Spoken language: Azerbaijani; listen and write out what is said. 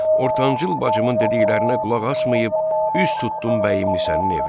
Ortancıl bacımın dediklərinə qulaq asmayıb, üz tutdum bəyimlinsənin evinə.